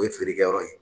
O ye feerekɛyɔrɔ ye